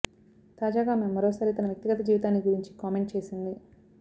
తాజాగా ఆమె మరోసారి తన వ్యక్తిగత జీవితాన్ని గురించి కామెంట్ చేసింది